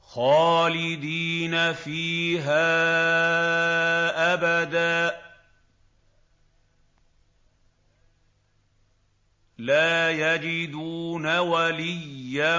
خَالِدِينَ فِيهَا أَبَدًا ۖ لَّا يَجِدُونَ وَلِيًّا